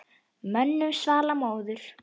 Mönnum svall móður.